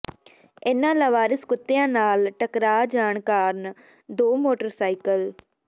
ਇਨ੍ਹਾਂ ਲਾਵਾਰਿਸ ਕੁੱਤਿਆਂ ਨਾਲ ਟਕਰਾਅ ਜਾਣ ਕਾਰਨ ਦੋ ਮੋਟਰਸਾਈਕਲ